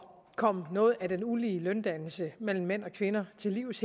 komme noget af den ulige løndannelse mellem mænd og kvinder til livs